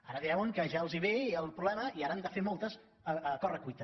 ara veuen que ja els hi ve el problema i ara n’han de fer moltes a corre cuita